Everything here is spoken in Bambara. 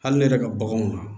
Hali ne yɛrɛ ka baganw na